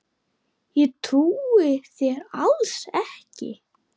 Ég trúi þér alls ekki!